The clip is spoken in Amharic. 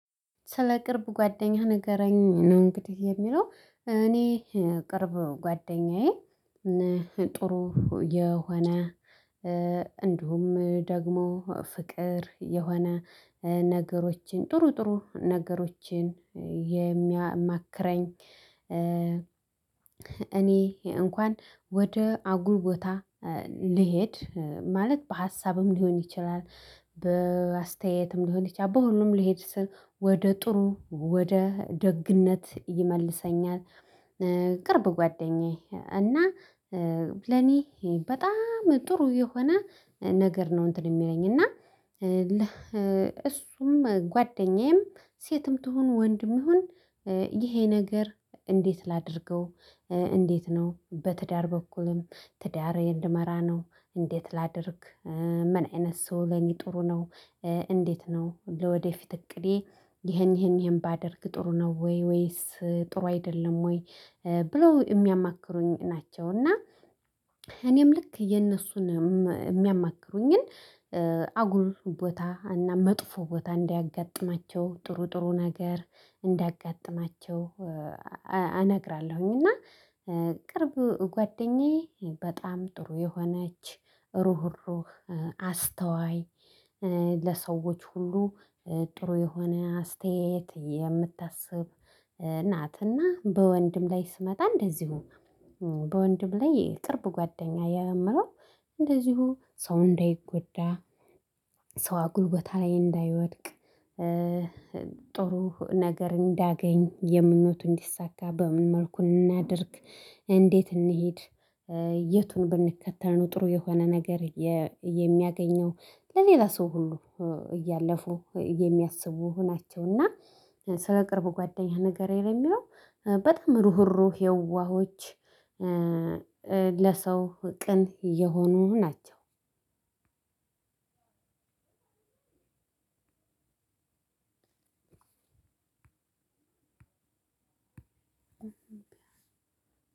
ስለ ቅርብ ጓደኛህ ንገረኝ ነው እንግዲህ የሚለው እኔ ቅርብ ጓደኛዬ ጥሩ የሆነ እንዲሁም ደግሞ ፍቅር የሆነ ነገሮችን ጥሩ ጥሩ ነገሮችን የሚያማክረኝ እኔ እንኳን ወደ አጉል ቦታ ልሄድ ማለት በሀሳብም ሊሆን ይችላል በአስተያየትም ሊሆን ይችላል በሁሉም ሊሄድ ስል ወደ ጥሩ ወደ ደግነት ይመልሰኛል። ቅርብ ጓደኛዬ እና ለኔ በጣም ጥሩ የሆነ ነገር ነው። እንትን የሚለኝ እና እሱም ጓደኛዬም ሴትም ትሁን ወንድም ይሁን። ይሄ ነገር እንዴት ላድርገው? እንዴት ነው? በትዳር በኩልም ትዳር እንድመራ ነው እንዴት ላድርግ? ምን አይነት ሰው ለኔ ጥሩ ነው? እንዴት ነው ለወደፊት እቅዴ ይሄን ይሄን ይሄን ባደርግ ጥሩ ነው ወይ ወይስ ጥሩ አይደለም ወይ? ብለው የሚያማክሩኝ ናቸው። እና እኔም ልክ የእነሱን የሚያማክሩኝን አጉል ቦታ እና መጥፎ ቦታ እንዳያጋጥማቸው ጥሩ ጥሩ ነገር እንዳጋጥማቸው እነግራለሁኝ። እና ቅርብ ጓደኛዬ በጣም ጥሩ የሆነች ሩህሩህ አስተዋይ። ለሰዎች ሁሉ ጥሩ የሆነ አስተያየት የምታስብ ናትና። በወንድም ላይ ስመጣ እንደዚሁ በወንድም ላይ የቅርብ ጓደኛ የምለው እንደዚሁ ሰው እንዳይጎዳ ሰው አጉል ቦታ ላይ እንዳይወድቅ። ጥሩ ነገር እንዳገኝ የምኞቱ እንዲሳካ በምን መልኩን እናድርግ እንዴት እንሂድ? የቱን ብንከተል ነው ጥሩ የሆነ ነገር የሚያገኘው ለሌላ ሰው ሁሉ እያለፉ የሚያስቡ ናቸውና። ስለ ቅርብ ጓደኛህ ንገረኝ? የሚለው በጣም ሩህሩህ የዋሆች ለሰው ቅን የሆኑ ናቸው። እምቢያ